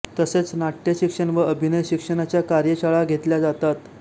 तसेच नाट्य शिक्षण व अभिनय शिक्षणाच्या कार्यशाळा घेतल्या जातात